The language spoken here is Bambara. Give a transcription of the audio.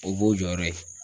O b'o jɔyɔrɔ ye.